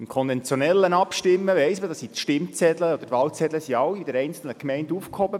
Beim konventionellen Abstimmen weiss man, dass die Stimm- und Wahlzettel in den einzelnen Gemeinden aufgehoben werden.